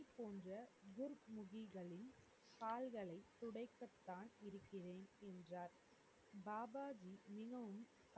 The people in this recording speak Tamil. போன்ற துர்முகிகளின் கால்களை துடைக்கத்தான் இருக்கிறேன் என்றார் பாபாஜி இன்னும்